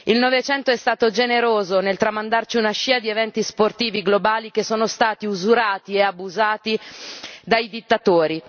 Il Novecento è stato generoso nel tramandarci una scia di eventi sportivi globali che sono stati usurati e abusati dai dittatori.